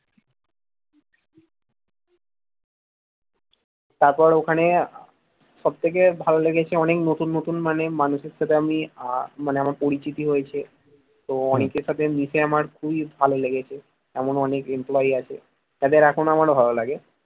তারপর ওখানে সব থেকে ভালো লেগেছে অনেক নতুন নতুন মানে মানুষের সাথে আমি মানে আমার পরিচিতি হয়েছে তো অনেকের সাথে মিশে আমার খুবই ভালো লেগেছে এমন অনেক employee আছে যাদের এখনো আমার ভালো লাগে